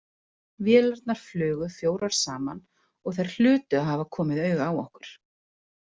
Vélarnar flugu fjórar saman og þær hlutu að hafa komið auga á okkur.